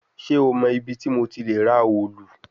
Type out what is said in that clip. Ṣe o mọ ibiti mo ti le ra òòlù?